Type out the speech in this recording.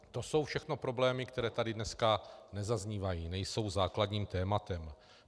To jsou všechno problémy, které tady dneska nezaznívají, nejsou základním tématem.